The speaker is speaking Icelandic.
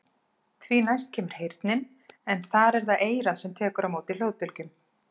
Því næst kemur heyrnin en þar er það eyrað sem tekur á móti hljóðbylgjum.